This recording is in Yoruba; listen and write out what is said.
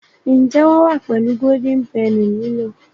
Njé wón wá pèlú Golden Penny lilọ?